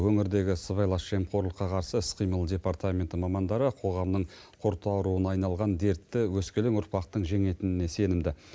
өңірдегі сыбайлас жемқорлыққа қарсы іс қимыл департаменті мамандары қоғамның құрт ауруына айналған дертті өскелең ұрпақтың жеңетініне сенімді